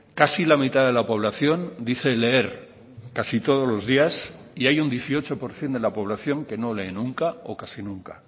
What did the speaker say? casi la mitad de la población dice leer casi todos los días y hay un dieciocho por ciento de la población que no lee nunca o casi nunca